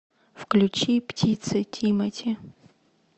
включи птицы тимати